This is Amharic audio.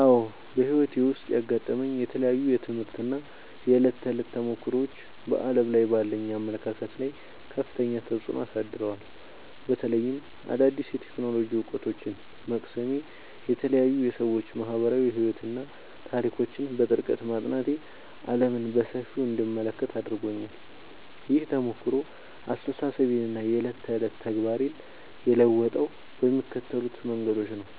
አዎ፣ በሕይወቴ ውስጥ ያጋጠሙኝ የተለያዩ የትምህርት እና የዕለት ተዕለት ተሞክሮዎች በዓለም ላይ ባለኝ አመለካከት ላይ ከፍተኛ ተጽዕኖ አሳድረዋል። በተለይም አዳዲስ የቴክኖሎጂ እውቀቶችን መቅሰሜ፣ የተለያዩ የሰዎች ማኅበራዊ ሕይወትና ታሪኮችን በጥልቀት ማጥናቴ ዓለምን በሰፊው እንድመለከት አድርጎኛል። ይህ ተሞክሮ አስተሳሰቤንና የዕለት ተዕለት ተግባሬን የለወጠው በሚከተሉት መንገዶች ነው፦